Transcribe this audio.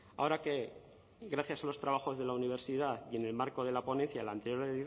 ahora que gracias a los trabajos de la universidad y el marco de la ponencia de la anterior